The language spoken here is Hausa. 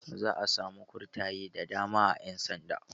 Za'a samu kurtaye da dama a ƴan sanda.